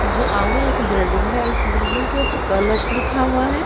जी आगे एक बिल्डिंग है इस बिल्डिंग के ऊपर कलश लिखा हुआ है।